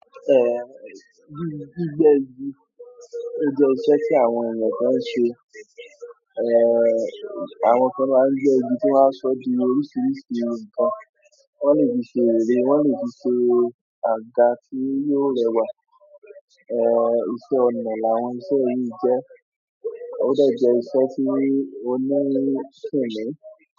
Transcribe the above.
Gbígbẹ́ igi, ó jẹ́ iṣẹ́ tí àwọn ènìyàn kan ń ṣe. Àwọn kan máa ń gbé igi tí wọ́n á sọ di oríṣiríṣi ǹkan. Wọ́n lè fi ṣe ère, wọ́n lè fi ṣe àga tí yíó rẹwà. Eh, iṣẹ́ ọnà làwọn iṣẹ́ yìí jẹ́. Ódè jé iṣẹ́ tí o ní kìnmí.